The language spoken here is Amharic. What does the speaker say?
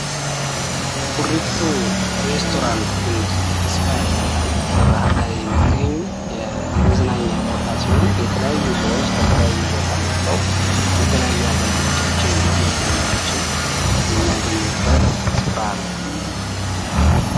ኩሪፍቱ ሬስቶራንት ኤንድ ስፓ ይባላል። በባህርዳር የሚገኝ የመዝናኛ ቦታ ሲሆን፤ የተለያዩ ሰዎች ከተለያየ ቦታ መጠዉ የተለያዩ አገልግሎቶችን እንዲሁም መዝናኛዎችን የሚያገኙበት ስፍራ ነዉ።